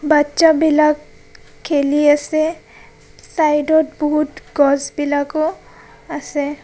বাট্চা বিলাক খেলি আছে. চাইদ ত বহুত গছ বিলাকও আছে.